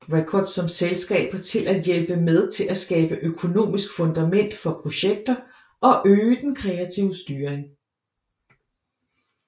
Records som selskaber til at hjælpe med til at skabe økonomisk fundament for projekter og øge den kreative styring